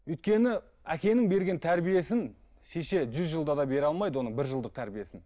өйткені әкенің берген тәрбиесін шеше жүз жылда да бере алмайды оның бір жылдық тәрбиесін